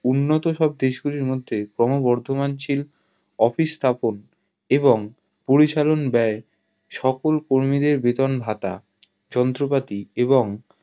উন্নত সব দেশ গুলির মধ্যে ক্রোম বর্ধমান শীল office স্থাপন এবং পরিচালন বায়ে সকল কর্মী দেড় বেতন ভাতা যন্ত্রপাতি এবং